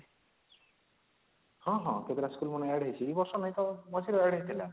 ହଁ ହଁ କେତେଟା school ମାନେ add ହେଇଚି ଏ ବରଷ ନାଇଁ ତ ମଝିରେ add ହେଇଥିଲା